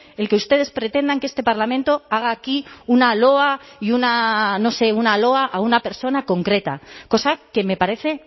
el que ustedes pretendan que este parlamento haga aquí una loa y una no sé una loa a una persona concreta cosa que me parece